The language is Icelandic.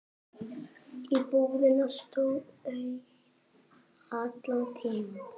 Íbúðin stóð auð allan tímann.